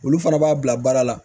Olu fana b'a bila baara la